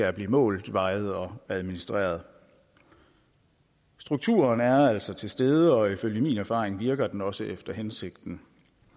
at blive målt vejet og administreret strukturen er altså til stede og ifølge min erfaring virker den også efter hensigten